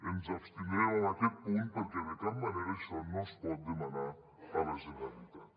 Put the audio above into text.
ens abstindrem en aquest punt perquè de cap manera això no es pot demanar a la generalitat